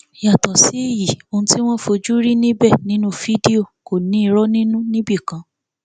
yàtọ sí èyí ohun tí wọn fojú rí níbẹ nínú fídíò kò ní irọ nínú níbì kan